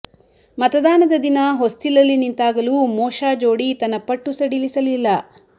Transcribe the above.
ಮತದಾನದ ದಿನ ಹೊಸ್ತಿಲಲ್ಲಿ ನಿಂತಾಗಲೂ ಮೋಶಾ ಜೋಡಿ ತನ್ನ ಪಟ್ಟು ಸಡಿಲಿಸಲಿಲ್ಲ